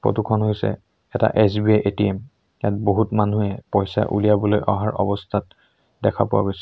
Photo খন হৈছে এটা এছ_বি_আই এ_টি_এম ইয়াত বহুত মানুহে পইচা উলিয়াবলৈ অহাৰ অৱস্থাত দেখা পোৱা গৈছে।